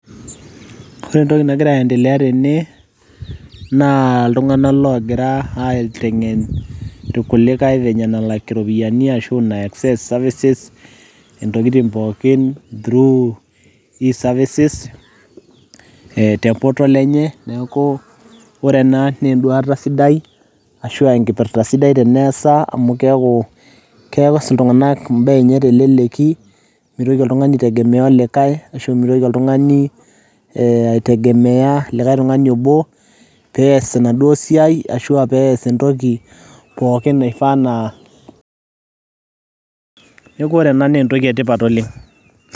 Ore entoki nagira aiendelea tene naa iktung'anak loogira aiteng'en irkulikai venye nelak iropiyiani ashu nai access services intokitin pookin through e-services ee e portal neeku ore ena naa enduata sidai ashu aa enkipirta sidai teneesa amu keeku kees iltung'anak imbaa enye teleleki mitoki oltung'ani aitengemea likai ashu mitoki oltung'ani aa aitegemea likai tung'ani obo pee ees enaduo siai ashu pee ees pookin naifaa naa, neeku ore ena naa entoki etipat oleng' .